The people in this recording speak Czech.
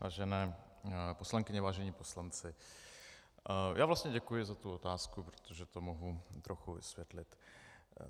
Vážené poslankyně, vážení poslanci, já vlastně děkuji za tu otázku, protože to mohu trochu vysvětlit.